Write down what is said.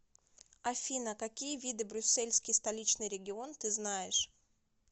афина какие виды брюссельский столичный регион ты знаешь